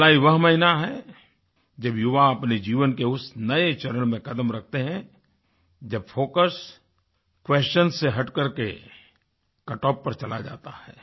जुलाई वह महीना है जब युवा अपने जीवन के उस नये चरण में क़दम रखते हैं जब फोकस क्वेशंस से हटकर के कटॉफ पर चला जाता है